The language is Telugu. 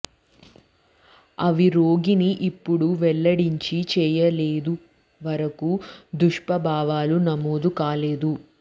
అవి రోగిని ఇప్పుడు వెల్లడించింది చేయలేదు వరకు దుష్ప్రభావాలు నమోదు కాలేదు